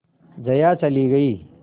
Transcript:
जया चली गई